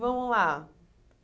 Vamos lá.